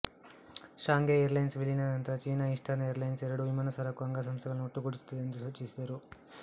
Shanghai airlines ವಿಲೀನದ ನಂತರ China eastern airlines ಎರಡು ವಿಮಾನ ಸರಕು ಅಂಗಸಂಸ್ಥೆಗಳನ್ನು ಒಟ್ಟುಗೂಡಿಸುತ್ತದೆ ಎಂದು ಸೂಚಿಸಿದರು